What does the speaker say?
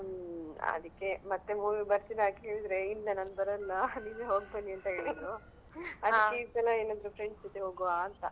ಹ್ಮ್ ಅದಿಕ್ಕೆ ಮತ್ತೆ movie ಗೆ ಬರ್ತೀರಾ ಕೇಳಿದ್ರೆ ಇಲ್ಲಾ ನಾನ್ ಬರಲ್ಲಾ ನೀನ್ ಹೋಗ್ ಬನ್ನಿ ಅಂತ ಹೇಳಿದ್ರು ಅದಕ್ಕೆ ಈ ಸಲ ಎಲ್ಲಿದ್ರು friends ಜೊತೆ ಹೋಗ್ವಂತ.